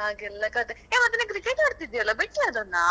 ಹಾಗೆಲ್ಲ ಕಥೆ. hey ಮತ್ತೆ ನೀನ್ cricket ಆಡ್ತಿದ್ದೀಯಲ್ಲಾ ಬಿಟ್ಯಾ ಅದನ್ನಾ?